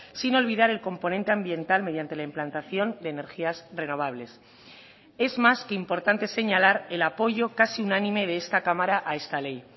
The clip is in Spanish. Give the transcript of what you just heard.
sin olvidar el componente ambiental mediante la implantación de energías renovables es más que importante señalar el apoyo casi unánime de esta cámara a esta ley